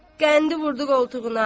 Qəndi vurdu qoltuğuna.